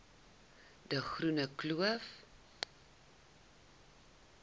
de groene kloof